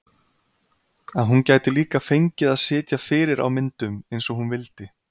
Að hún gæti líka fengið að sitja fyrir á myndum eins og hún vildi.